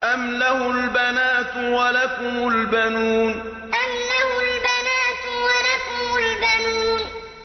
أَمْ لَهُ الْبَنَاتُ وَلَكُمُ الْبَنُونَ أَمْ لَهُ الْبَنَاتُ وَلَكُمُ الْبَنُونَ